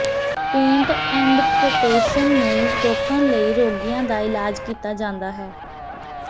paint ਐੰਡਪਟੇਸ਼ਨ ਨੂੰ ਰੋਕਣ ਲਈ ਰੋਗੀਆਂ ਦਾ ਇਲਾਜ ਕੀਤਾ ਜਾਂਦਾ ਹੈ